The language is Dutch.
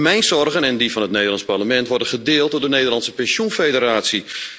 Mijn zorgen en die van het Nederlandse parlement worden gedeeld door de Nederlandse pensioenfederatie.